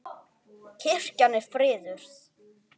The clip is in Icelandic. Kirkjan er friðuð.